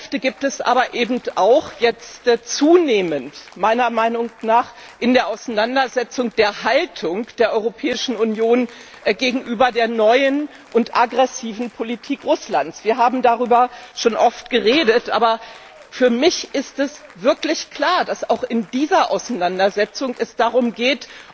Fliehkräfte gibt es aber eben meiner Meinung nach zunehmend auch in der Auseinandersetzung über die Haltung der Europäischen Union gegenüber der neuen und aggressiven Politik Russlands. Wir haben darüber schon oft geredet, aber für mich ist es wirklich klar, dass es auch in dieser Auseinandersetzung darum geht,